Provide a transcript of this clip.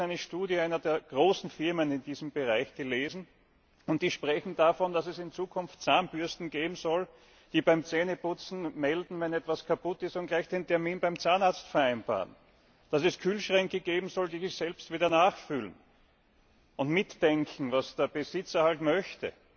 Ich habe vor Kurzem eine Studie einer der großen Firmen in diesem Bereich gelesen, und die sprechen davon, dass es in Zukunft Zahnbürsten geben soll, die beim Zähneputzen melden, wenn etwas kaputt ist, und gleich den Termin beim Zahnarzt vereinbaren, dass es Kühlschränke geben soll, die sich selbst wieder nachfüllen und mitdenken, was der Besitzer halt möchte,